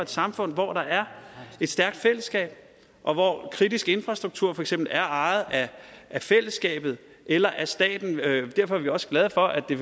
samfund hvor der er et stærkt fællesskab og hvor kritisk infrastruktur for eksempel er ejet af fællesskabet eller staten derfor er vi også glade for at det